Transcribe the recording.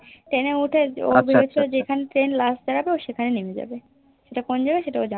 Train এ উঠে ও ভেবেছে যে যেখানে Train last দাঁড়াবে ও সেখানে নেমে যাবে সেটা কোন জায়গা সেটা ও জানেনা